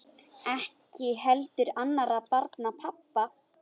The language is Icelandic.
Ekki heldur annarra barna pabbi.